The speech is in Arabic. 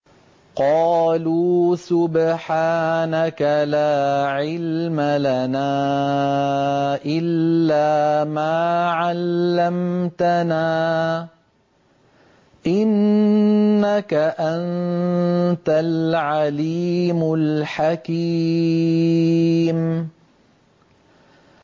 قَالُوا سُبْحَانَكَ لَا عِلْمَ لَنَا إِلَّا مَا عَلَّمْتَنَا ۖ إِنَّكَ أَنتَ الْعَلِيمُ الْحَكِيمُ